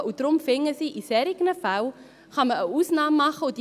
Sie finden darum, dass in solchen Fällen eine Ausnahme gemacht werden kann: